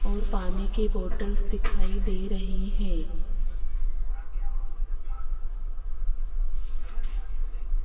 और पानी की बॉटल्स दिखाई दे रही है।